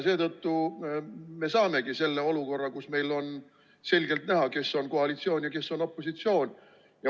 Seetõttu me saamegi selle olukorra, kus meile on selgelt näha, kes on koalitsioonis ja kes on opositsioonis.